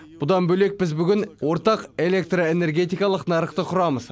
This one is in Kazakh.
бұдан бөлек біз бүгін ортақ электроэнергетикалық нарықты құрамыз